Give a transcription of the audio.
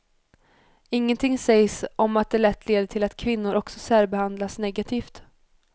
Ingenting sägs om att det lätt leder till att kvinnor också särbehandlas negativt.